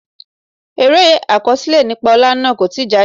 Eré àkọsílẹ̀ nípa olè náà kò tí jáde.